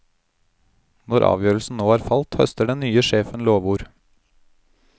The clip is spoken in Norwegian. Når avgjørelsen nå er falt, høster den nye sjefen lovord.